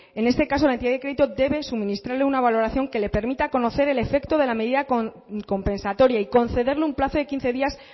en este caso la entidad de crédito debe suministrarle una valoración que le permita conocer el efecto de la medida compensatoria y concederle un plazo de quince días